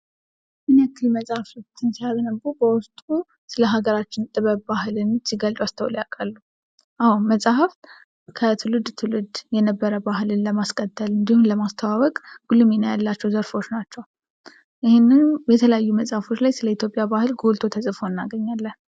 ምን ያክል መጽሐፎችን ሲያነቡ በውስጡ ስለ ሀገራችን ጥበብን፥ ባህልን ሲገልጹ አስተውለው ያቃሉ? አዎ መጽሐፍ ከትውልድ ትውልድ የነበረን ባህል ለማስቀጠል እንዲሁም ለማስተዋወቅ ጉልህ ሚና ያላቸው ዘርፎች ናቸው። ይህንን የተለያዩ መጽሃፎች ላይ ስለ ኢትዮጵያ ባህል ጎልቶ እናገኘዋለን።